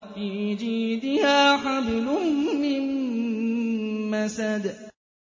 فِي جِيدِهَا حَبْلٌ مِّن مَّسَدٍ